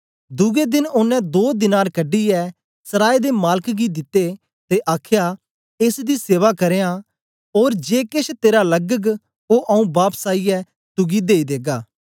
दुए देन ओनें दो दीनार कढीयै सराय दे मालक गी दिते ते आखया एस दी सेवा करयां ओर जे केश तेरा लगग ओ आऊँ बापस आईयै तुगी देई देगा